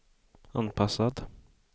anpassad